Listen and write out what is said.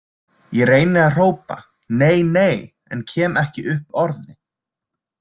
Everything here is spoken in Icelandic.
Ég reyni að hrópa: Nei, nei, en kem ekki upp orði.